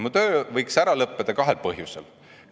Mu töö võiks ära lõppeda kahel põhjusel.